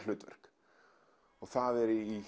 hlutverk og það er í